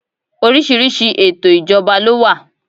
Oríṣiríṣi ètò ìjọba ló wà.